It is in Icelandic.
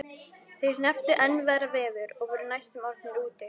Þeir hrepptu enn verra veður og voru næstum orðnir úti.